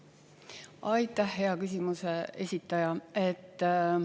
Aitäh, hea küsimuse esitaja!